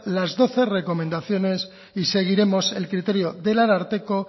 las doce recomendaciones y seguiremos el criterio del ararteko